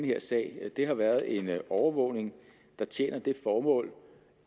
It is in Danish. her sag har været en overvågning der tjener det formål